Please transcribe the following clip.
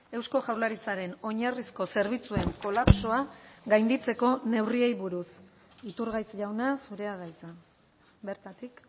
eusko jaurlaritzaren oinarrizko zerbitzuen kolapsoa gainditzeko neurriei buruz iturgaiz jauna zurea da hitza bertatik